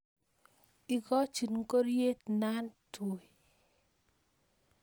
ikochi ngoriet natui